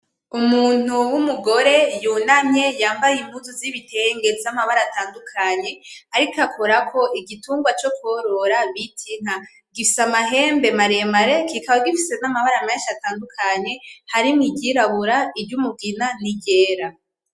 Umuntu w'umugore yunamye yambaye impuzu z'ibitenge zamabara atandukanye ariko akorako igitungwa co kworora citwa inka, gifise amahembe maremare kikaba gifise namabara menshi atandukanye harimwo iryirabura iry'umugina niryera.